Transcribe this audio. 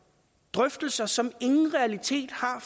drøftelser som ingen realitet har